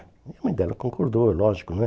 A mãe dela concordou, é lógico, né?